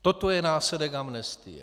Toto je následek amnestie.